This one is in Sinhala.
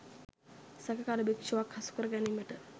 සැකකාර භික්ෂුවක් හසු කර ගැනීමට